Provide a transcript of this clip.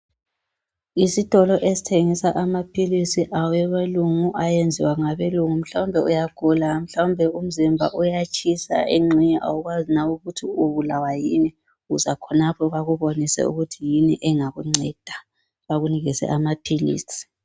Isitolo esithengisa amaphilisi abelungu ayenziwa ngabelungu mhlawumbe uyagula, mhlawumbe umzimba uyatshisa, engxenye awukwazi nawe ukuthi ubulawa yini, uza khonapho bakubonise ukuthi yini engakunceda bakunikeze amaphilisi.